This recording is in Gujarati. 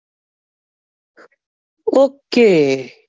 Okay